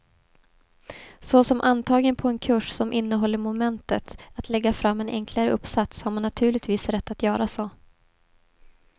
Såsom antagen på en kurs som innehåller momentet att lägga fram en enklare uppsats, har man naturligtvis rätt att göra så.